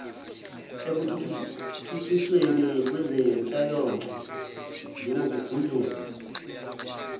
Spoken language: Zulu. ekuthuthukisweni kwezenhlalonhle njengokugudluza